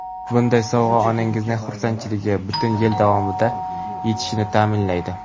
Bunday sovg‘a onangizning xursandchiligi butun yil davom etishini ta’minlaydi.